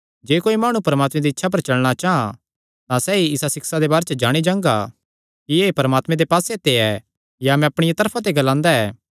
जे कोई माणु परमात्मे दी इच्छा पर चलणा चां तां सैई इसा सिक्षा दे बारे च जाणी जांगा कि एह़ परमात्मे दे पास्से ते ऐ या मैं अपणिया तरफा ते ग्लांदा ऐ